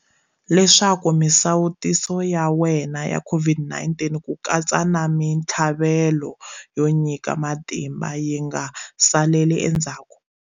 Leswaku misawutiso ya wena ya COVID-19, ku katsa na mitlhavelo yo nyika matimba, yi nga saleli endzhaku.